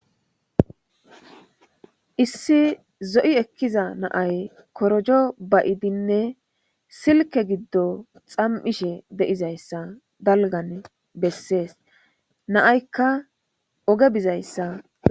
issi zo7i ekkiza naay korojo bayidinne silke giddo xam7ishe de'izayssa dalgan bessees naaykka oge bizayssa